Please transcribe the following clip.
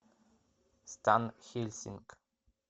стан хельсинг